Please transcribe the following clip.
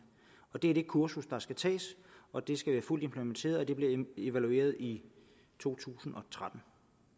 det er det kursus der skal tages og det skal være fuldt implementeret og det bliver evalueret i totusinde og trettende